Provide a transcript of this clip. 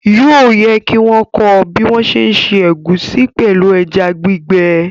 Yóò yẹ kí wọ́n kọ́ ọ bí wọ́n ń ṣé ṣe ẹ̀gúsí pẹ̀lú ẹja gbígbẹ